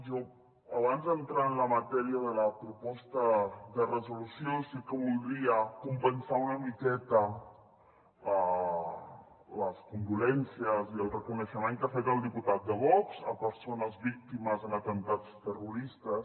jo abans d’entrar en la matèria de la proposta de resolució sí que voldria compensar una miqueta les condolences i el reconeixement que ha fet el diputat de vox a persones víctimes en atemptats terroristes